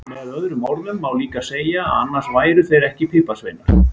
Með öðrum orðum má líka segja að annars væru þeir ekki piparsveinar!